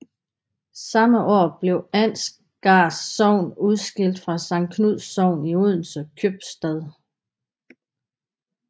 Samme år blev Ansgars Sogn udskilt fra Sankt Knuds Sogn i Odense Købstad